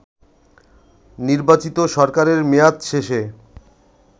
নির্বাচিত সরকারের মেয়াদ শেষে